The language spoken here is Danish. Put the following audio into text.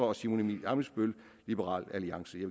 og simon emil ammitzbøll